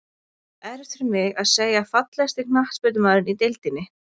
Erfitt fyrir mig að segja Fallegasti knattspyrnumaðurinn í deildinni?